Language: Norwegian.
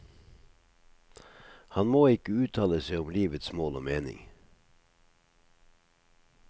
Han må ikke uttale seg om livets mål og mening.